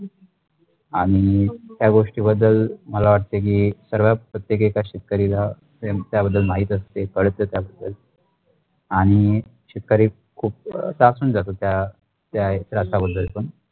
आणि त्या गोष्टी बद्दल मला वाटतेकी शगडत प्रत्येगय एका शेतकरीलात्या प्रम बद्दल नाही करते आणि शेतकरी खूप तत्रासुन जातत त्या त्यासा बद्दल पण.